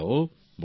প্রেম জী হ্যাঁ